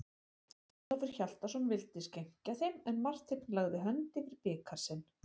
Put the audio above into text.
Ólafur Hjaltason vildi skenkja þeim, en Marteinn lagði hönd yfir bikar sinn.